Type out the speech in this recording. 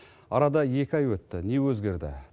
арада екі ай өтті не өзгерді